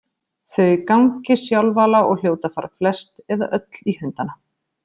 Þau gangi sjálfala og hljóti að fara flest eða öll í hundana.